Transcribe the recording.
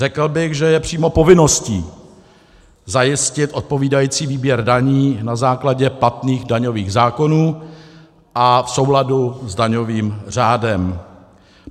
Řekl bych, že je přímo povinností zajistit odpovídající výběr daní na základě platných daňových zákonů a v souladu s daňovým řádem.